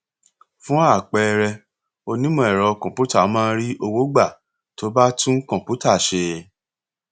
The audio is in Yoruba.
fun àpẹẹrẹ onímọ ẹrọ kọǹpútà máa ń rí owó gbà tó bá tún kọǹpútà ṣe